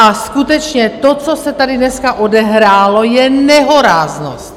A skutečně to, co se tady dneska odehrálo, je nehoráznost!